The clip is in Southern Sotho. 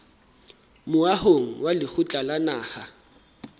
moahong wa lekgotla la naha